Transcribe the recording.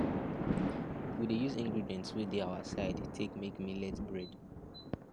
we dey use ingredients wey dey our side take make millet bread